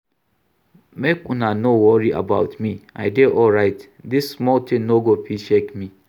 Make una no worry about me I dey alright, dis small thing no go fit shake me